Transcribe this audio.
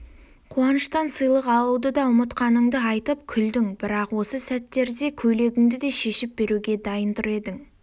қуаныштан сыйлық алуды да ұмытқаныңды айтып күлдің бірақ осы сәттерде көйлегіңді де шешіп беруге дайын тұр едің